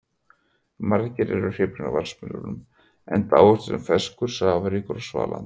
Margir eru hrifnir af vatnsmelónum enda ávöxturinn ferskur, safaríkur og svalandi.